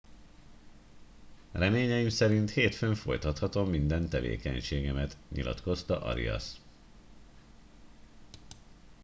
reményeim szerint hétfőn folytathatom minden tevékenységemet nyilatkozta arias